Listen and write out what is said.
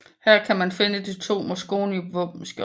Her kan man finde de to Mosconi våbenskjold